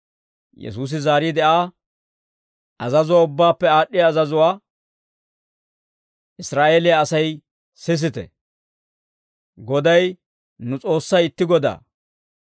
Yesuusi zaariide, Aa «Azazuwaa ubbaappe aad'd'iyaa azazuwaa, ‹Israa'eeliyaa Asay sisite, Goday nu S'oossay itti Godaa.